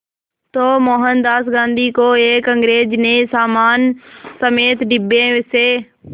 तो मोहनदास गांधी को एक अंग्रेज़ ने सामान समेत डिब्बे से